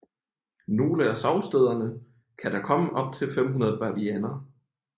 Nogle af sovestederne kan der komme op til 500 bavianer